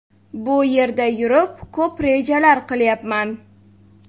Bu yerda yurib, ko‘p rejalar qilyapman.